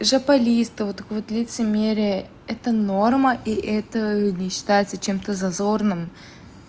жопализ то вот такое лицемерия это норма и это не считается чем-то зазорным